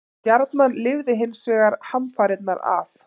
Stjarnan lifði hins vegar hamfarirnar af.